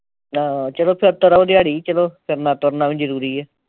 ਆਹ ਚਲੋ ਫਿਰ ਤੁਰ ਆਓ ਦਿਹਾੜੀ ਵੀ ਚਲੋ ਫਿਰਨਾ ਤੁਰਨਾ ਵੀ ਜਰੂਰੀ